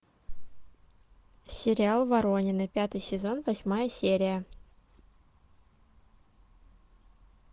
сериал воронины пятый сезон восьмая серия